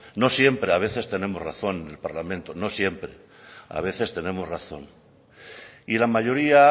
no siempre a veces tenemos razón en el parlamento no siempre a veces tenemos razón y la mayoría